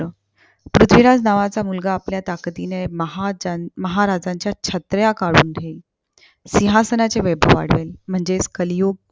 पृथ्वीराज नावाचा मुलगा आपल्या ताकदीने महा महाराजांच्या छत्र्या काढून ठेवील. सिहांसनाचे वैभव वाढवेल म्हणजेच कलियुग